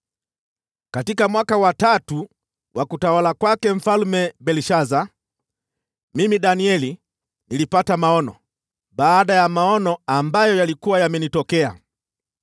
Katika mwaka wa tatu wa utawala wa Mfalme Belshaza, mimi Danieli, nilipata maono, baada ya maono ambayo yalikuwa yamenitokea mbeleni.